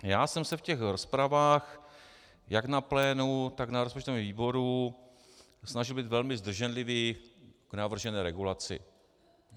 Já jsem se v těch rozpravách jak na plénu, tak na rozpočtovém výboru snažil být velmi zdrženlivý k navržené regulaci.